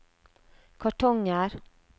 kartonger